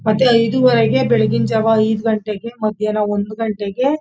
ಮತ್ತೆ ಐದು -ವರೆಗೆ ಬೆಳಗಿನ ಜಾವ ಐದು ಗಂಟೆಗೆ ಮದ್ಯಾನ ಒಂದ್ ಗಂಟೆಗೆ--